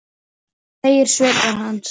segir svipur hans.